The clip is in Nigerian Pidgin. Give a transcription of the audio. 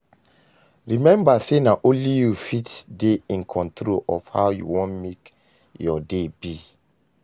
Remmba say na only yu fit dey in control of how yu wan mek yur day be